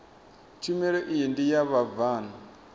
tshumelo iyi ndi ya vhabvann